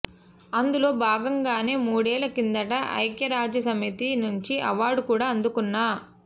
అందులో భాగంగానే మూడేళ్ల కిందట ఐక్యరాజ్యసమితి నుంచి అవార్డు కూడా అందుకున్నా